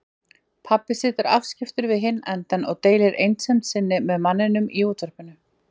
Pabbi situr afskiptur við hinn endann og deilir einsemd sinni með manninum í útvarpinu.